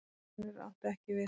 Orðasennur áttu ekki við hana.